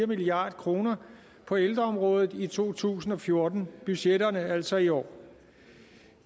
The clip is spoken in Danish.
milliard kroner på ældreområdet i to tusind og fjorten budgetterne altså i år